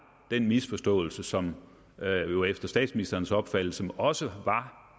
den misforståelse som der jo efter statsministerens opfattelse også var